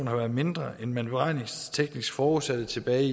har været mindre end man beregningsteknisk forudsatte tilbage i